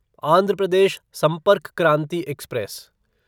Andhra Pradesh Sampark Kranti express